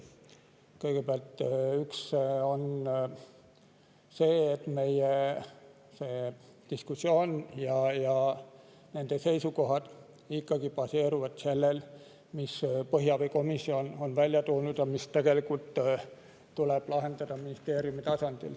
Kõigepealt, meie diskussioon ja seisukohad baseeruvad ikkagi sellel, mille põhjaveekomisjon on välja toonud ja mis tuleb lahendada ministeeriumi tasandil.